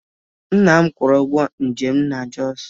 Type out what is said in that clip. Nna m kwụrụ ụgwọ njem m na Jos